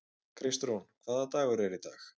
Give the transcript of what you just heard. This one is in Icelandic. Kristrún, hvaða dagur er í dag?